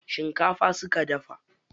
Shinkafa suka dafa.